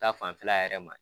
Ta fanfɛla yɛrɛ ma